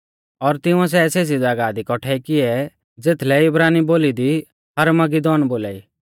और तिंउऐ सै सेज़ी ज़ागाह दी कौठै किऐ ज़ेथलै इब्रानी बोली दी हरमगीदौन बौल़ा ई